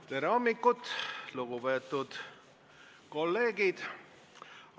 Tere hommikust, lugupeetud kolleegid!